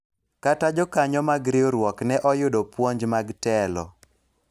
kata jokanyo mar riwruok ne oyudo puonj mag telo